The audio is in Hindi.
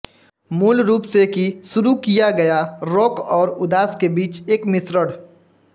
मूल रूप से कि शुरू किया गया रॉक और उदास के बीच एक मिश्रण